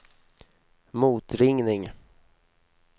motringning